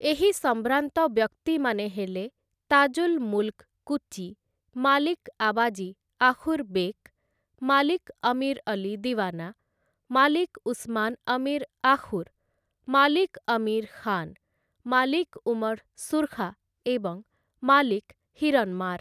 ଏହି ସମ୍ଭ୍ରାନ୍ତ ବ୍ୟକ୍ତିମାନେ ହେଲେ ତାଜୁଲ୍‌ ମୁଲ୍‌କ କୁଚି, ମାଲିକ୍‌ ଆବାଜୀ ଆଖୁର୍‌ ବେକ୍‌, ମାଲିକ୍‌ ଅମୀର୍‌ ଅଲ୍ଲୀ ଦିୱାନା, ମାଲିକ୍‌ ଉସ୍‌ମାନ୍‌ ଅମୀର୍‌ ଆଖୁର୍‌, ମାଲିକ୍‌ ଅମୀର୍‌ ଖାନ୍‌, ମାଲିକ୍‌ ଉମର୍‌ ସୁର୍ଖା ଏବଂ ମାଲିକ୍‌ ହୀରନ୍‌ମାର୍‌ ।